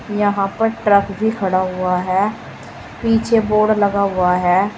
यहां पर ट्रक भी खड़ा हुआ है पीछे बोर्ड लगा हुआ है।